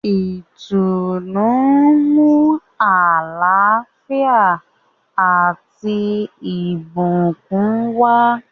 Ìtùnú nmu àlàáfíà ati awọn ìbùkún wa.